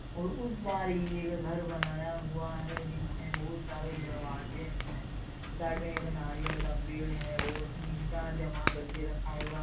और उस बार ये एक घर बनाया हुआ है जिसमें बहुत सारे दरवाजे है और साइड नारियल का पेड़ है और ईटा जमा करके रखा हुआ --